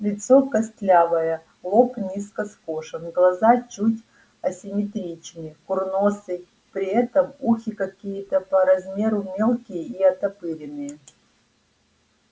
лицо костлявое лоб низко скошен глаза чуть асимметричны курносый при этом ухи какие-то по размеру мелкие и оттопыренные